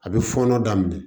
A bɛ fɔɔnɔ daminɛ